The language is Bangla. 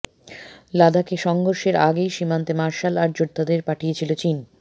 লাদাখে সংঘর্ষের আগেই সীমান্তে মার্শাল আর্ট যোদ্ধাদের পাঠিয়েছিল চীন